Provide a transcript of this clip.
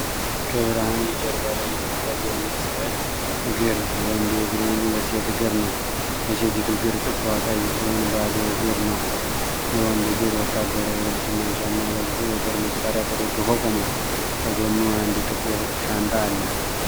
ከብርሃን የጀርባ ላይ የሚታየው ይህ ሥዕል አንድ ወንድ እግሩና የሴት እግር ነው። የሴቲቱ እግር ጥፍሯ ቀይ ሲሆን ባዶ እግር ነው። የወንዱ እግር ወታደራዊ ልብስና ጫማ ለብሶ የጦር መሣሪያ ተደግፎ ቆሟል። ከጎኑ አንድ ጥቁር ሻንጣ አለ።